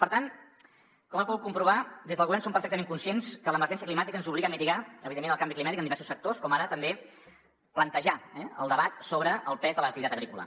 per tant com ha pogut comprovar des del govern som perfectament conscients que l’emergència climàtica ens obliga a mitigar evidentment el canvi climàtic en diversos sectors com ara també a plantejar el debat sobre el pes de l’activitat agrícola